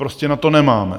Prostě na to nemáme.